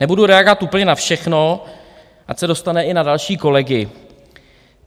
Nebudu reagovat úplně na všechno, ať se dostane i na další kolegy.